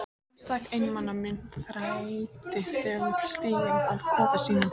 Einstaka einmana munkur þræddi þögull stíginn að kofa sínum.